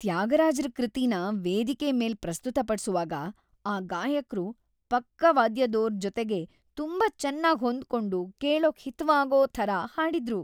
ತ್ಯಾಗರಾಜ್ರ ಕೃತಿನ ವೇದಿಕೆ ಮೇಲ್ ಪ್ರಸ್ತುತಪಡ್ಸುವಾಗ ಆ ಗಾಯಕ್ರು ಪಕ್ಕಾವಾದ್ಯದೋರ್‌ ಜೊತೆಗೆ ತುಂಬಾ ಚೆನ್ನಾಗ್ ಹೊಂದ್ಕೊಂಡು ಕೇಳೋಕ್ ಹಿತವಾಗೋ ಥರ ಹಾಡಿದ್ರು.